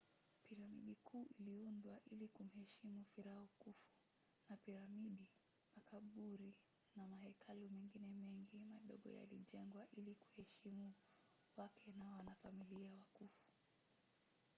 piramidi kuu iliundwa ili kumheshimu firauni khufu na piramidi makaburi na mahekalu mengine mengi madogo yalijengwa ili kuheshimu wake na wanafamilia wa khufu